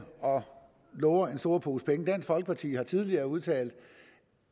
og lover en stor pose penge dansk folkeparti har tidligere udtalt